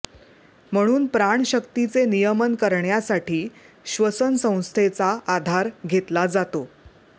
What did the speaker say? म्हणून प्राणशक्तीचे नियमन करण्यासाठी श्वसनसंस्थेचा आधार घेतला जातो